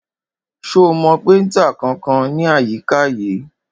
Ṣo mọ péntà kankan ní àyíká yìí?